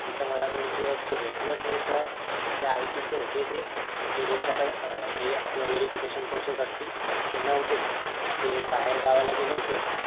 तिथं मला दोन दिवस ते भेटलेच नाही sir ते IT चे होते ते म्हणजे ज्यांच्याकडे अं हे आपलं verification process असती ते नव्हतेच ते बाहेर गावाला गेले होते.